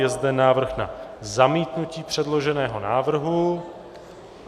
Je zde návrh na zamítnutí předloženého návrhu.